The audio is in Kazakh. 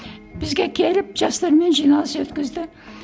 бізге келіп жастармен жиналыс өткізді